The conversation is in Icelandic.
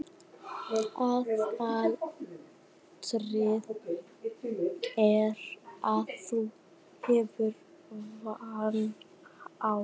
Aðalatriðið er að þú hafir varann á.